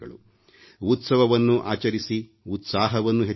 ಉತ್ಸವವನ್ನೂ ಆಚರಿಸಿ ಉತ್ಸಾಹವನ್ನೂ ಹೆಚ್ಚಿಸಿಕೊಳ್ಳಿ